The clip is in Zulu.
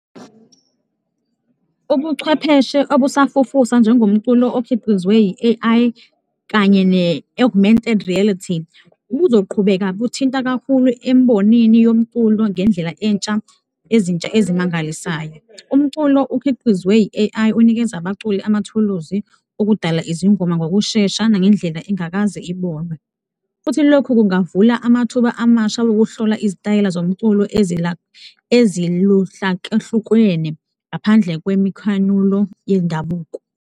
Ubuchwepheshe obusafufusa njengomculo okhiqizwe i-A_I kanye ne-Augmented reality buzoqhubeka buthinta kakhulu embonini yomculo ngendlela ezintsha ezimangalisayo. Umculo ukhiqizwe i-A_I unikeza abaculi amathuluzi okudala izingoma ngokushesha nangendlela engakaze ibonwe futhi lokhu kungavula amathuba amasha wokuhlola izitayela zomculo eziluhlakahlukwene ngaphandle kwemikhanulo yendabuko.